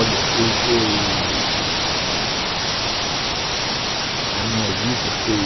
Olha, eu...eu... A minha vida foi...